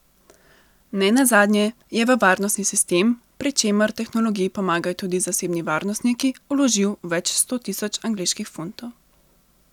Ne nazadnje je v varnostni sistem, pri čemer tehnologiji pomagajo tudi zasebni varnostniki, vložil več sto tisoč angleških funtov.